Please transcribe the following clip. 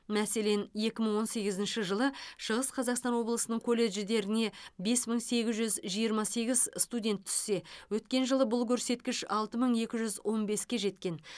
мәселен екі мың он сегізінші жылы шығыс қазақстан облысының колледждеріне бес мың сегіз жүз жиырма сегіз студент түссе өткен жылы бұл көрсеткіш алты мың екі жүз он беске жеткен